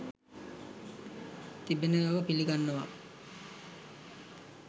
තිබෙන බව පිළිගන්නවා.